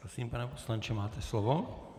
Prosím, pane poslanče, máte slovo.